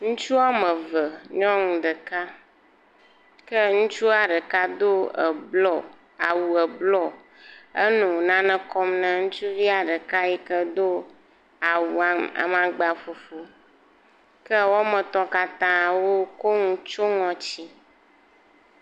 Ŋutsu woame eve ŋutsu ɖeka ke ŋutsua ɖeka Do ebluɔ, awu ebluɔ eye wò nane kpɔm na ŋutsuvia ɖeka yike Do awua amangba ƒuƒu. Ke woame etɔ katã wokɔ nu kɔ tsyɔe ŋɔti